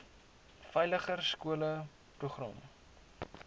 veiliger skole program